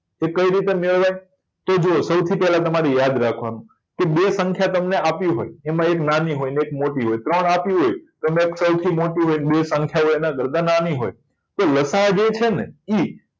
એ કઈ રીતે મેળવાય તો જુઓ સૌથી પહેલા તમારી યાદ રાખવાનું છે કે બે સંખ્યા તમને આપી હોય એક નાની હોય એને એક મોટી હોય ત્રણ આપી હોય અને એક મોટી હોય અને બે સંખ્યા એના કરતા નાની હોય તો લસાઅ જે છે ને ઈ